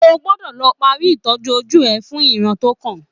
O gbọ́dọ̀ lọ parí ìtọ́jú ojú rẹ fún ìran tó kàn